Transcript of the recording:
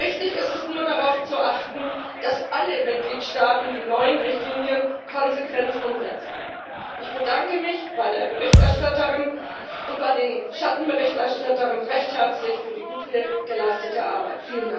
Wichtig ist es nur, darauf zu achten, dass alle Mitgliedstaaten die neuen Richtlinien konsequent umsetzen. Ich bedanke mich bei der Berichterstatterin und bei den Schattenberichterstattern recht herzlich für die gute geleistete Arbeit.